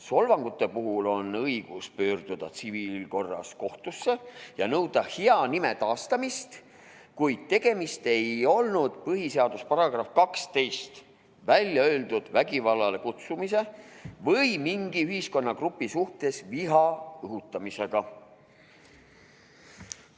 Solvangute puhul on õigus pöörduda tsiviilkorras kohtusse ja nõuda hea nime taastamist, kuid tegemist ei olnud põhiseaduse §-s 12 välja öeldud vägivallale kutsumise või mingi ühiskonnagrupi suhtes viha õhutamisega.